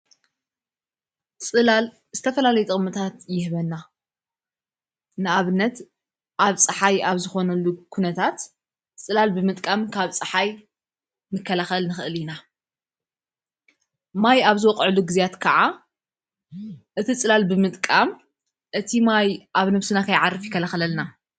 ፅላል ዝተፈላለይ ጥቕምታት ይህበና ንኣብነት ኣብፀሓይ ኣብ ዝኾነሉ ዂነታት ጽላል ብምጥቃም ካብ ፀሓይ ምከለኸል ንኽእል ኢና ማይ ኣብዝወቕዕሉ ጊዜያት ከዓ እቲ ጽላል ብምጥቃም እቲ ማይ ኣብ ነፍስና ካይዓርከያርፍ ይከለኸለልና::